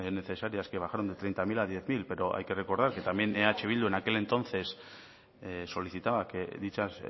necesarias que bajaron de treinta mil a hamar mila pero hay que recordar que también eh bildu en aquel entonces solicitaba que dicha